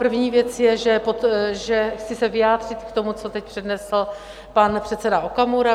První věc je, že chci se vyjádřit k tomu, co teď přednesl pan předseda Okamura.